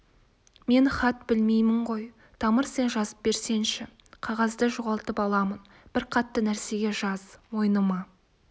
мен хат білмеймін ғой тамыр сен жазып берсеңші қағазды жоғалтып аламын бір қатты нәрсеге жаз мойныма